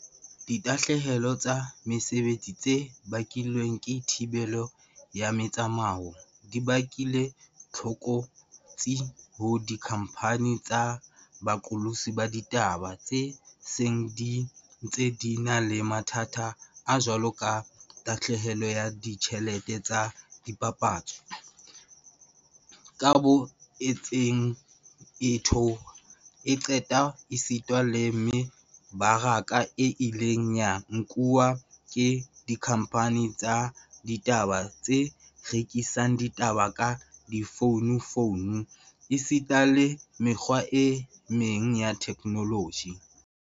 Ditahlehelo tsa mesebetsi tse bakilweng ke thibelo ya metsamao di bakile tlokotsi ho dikhamphani tsa boqolotsi ba ditaba tse seng di ntse di na le mathata a jwaloka tahlehelo ya ditjhelete tsa dipapatso, kabo e ntseng e theoha e qepha esita le me baraka e ileng ya nkuwa ke dikhamphani tsa ditaba tse rekisang ditaba ka difono fono esita le mekgwa e meng ya theknoloji.